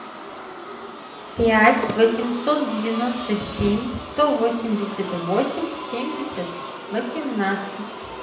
пять восемьсот девяносто семь сто восемьдесят восемь семьдесят восемнадцать